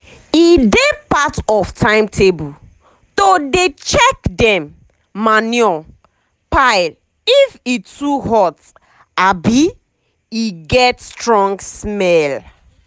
e dey part of timetable to dey check dem manure pileif e too hot abi e get strong smell.